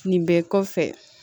Nin bɛɛ kɔfɛ